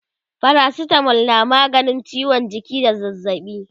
paracetamol na maganin ciwon jiki da zazzaɓi